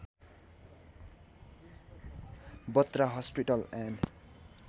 Batra hospital and